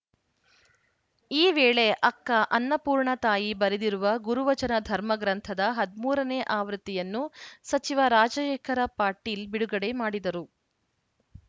ಈ ವೇಳೆ ಅಕ್ಕ ಅನ್ನಪೂರ್ಣ ತಾಯಿ ಬರೆದಿರುವ ಗುರುವಚನ ಧರ್ಮ ಗ್ರಂಥದ ಹದಿಮೂರ ನೇ ಆವೃತ್ತಿಯನ್ನು ಸಚಿವ ರಾಜಶೇಖರ ಪಾಟೀಲ್‌ ಬಿಡುಗಡೆ ಮಾಡಿದರು